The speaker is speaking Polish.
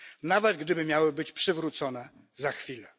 nawet gdyby miały być przywrócone za chwilę.